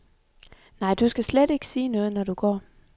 Nej, du skal slet ikke sige noget, når du går.